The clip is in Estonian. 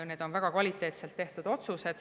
Need on väga kvaliteetselt tehtud otsused.